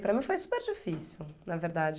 Para mim foi super difícil, na verdade.